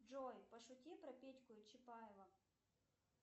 джой пошути про петьку и чапаева